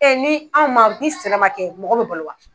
ni an man ni sɛnɛ man kɛ mɔgɔ bi balo wa.